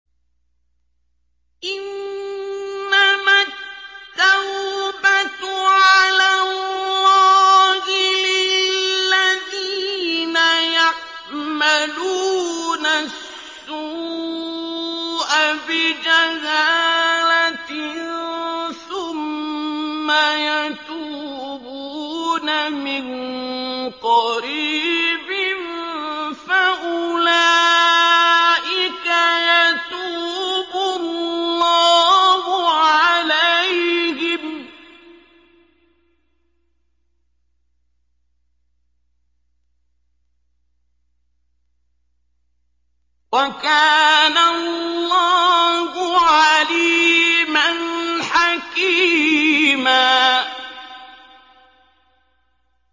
إِنَّمَا التَّوْبَةُ عَلَى اللَّهِ لِلَّذِينَ يَعْمَلُونَ السُّوءَ بِجَهَالَةٍ ثُمَّ يَتُوبُونَ مِن قَرِيبٍ فَأُولَٰئِكَ يَتُوبُ اللَّهُ عَلَيْهِمْ ۗ وَكَانَ اللَّهُ عَلِيمًا حَكِيمًا